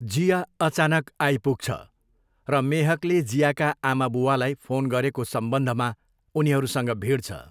जिया अचानक आइपुग्छ र मेहकले जियाका आमाबुवालाई फोन गरेको सम्बन्धमा उनीहरूसँग भिड्छ।